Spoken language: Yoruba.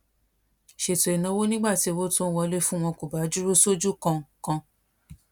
ṣètò ìnáwó nígbà tí owó tó ń wọlé fún wọn kò bá dúró sójú kan kan